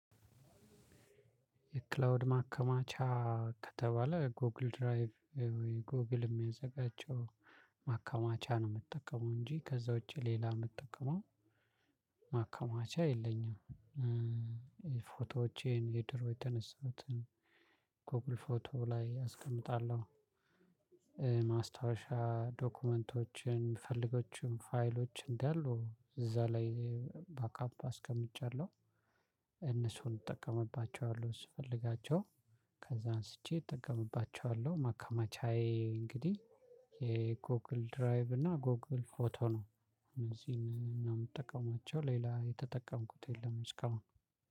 የክላውድ ማከማቻ ከተባለ ጎግል ድራይቭ ወይ ጎግል የሚያዘጋጅው ማከማቻ ነው የምጠቀመው እንጂ ከዛ ውጪ ሌላ ምጠቀመው ማከማቻ የለኝም። ፎቶዎቼን የድሮ የተነሳሁትን ጎግል ፎቶ ላይ አስቀምጣለሁ። ማስታወሻ ዶክመንቶችን ምፈልጋቸውን ፋይሎች እንዳሉ እዛ ላይ ባክአፕ አስቀምጫለሁ። እነሱን እጠቀምባቸዋለሁ ስፈልጋቸው ከዛ አንስቼ እጠቀምባቸዋለሁ። ማከማቻዬ እንግዲህ የጎግል ድራይቭ እና ጎግል ፎቶ ነው። እነዚህን ነው የምጠቀማቸው ሌላ የተጠቀምኩት የለም እስካሁን።